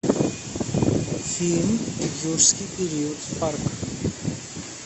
фильм юрский период парк